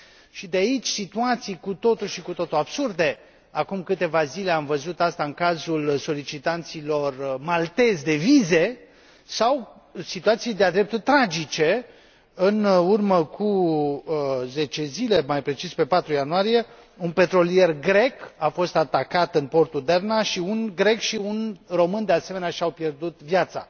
și de aici situații cu totul și cu totul absurde acum câteva zile am văzut aceasta în cazul solicitanților maltezi de vize sau situații de a dreptul tragice în urmă cu 10 zile, mai precis pe 4 ianuarie, un petrolier grec a fost atacat în portul Derna și un grec și un român, de asemenea, și au pierdut viața.